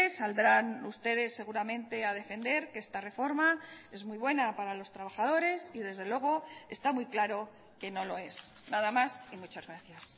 saldrán ustedes seguramente a defender que esta reforma es muy buena para los trabajadores y desde luego está muy claro que no lo es nada más y muchas gracias